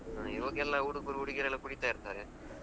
ಹ್ಮಇವಾಗೆಲ್ಲ ಹುಡುಗುರು ಹುಡುಗಿಯರೆಲ್ಲ ಕುಡಿತಾ ಇರ್ತಾರೆ.